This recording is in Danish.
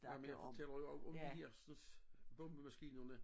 Nej men jeg fortæller jo også om de hersens bombemaskinerne